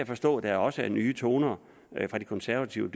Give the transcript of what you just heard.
forstå at der også er nye toner fra de konservative